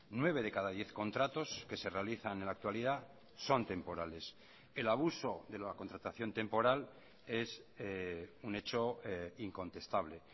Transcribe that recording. nueve de cada diez contratos que se realizan en la actualidad son temporales el abuso de la contratación temporal es un hecho incontestable